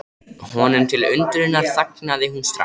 Honum til undrunar þagnaði hún strax.